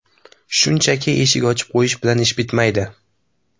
Shunchaki eshik ochib qo‘yish bilan ish bitmaydi.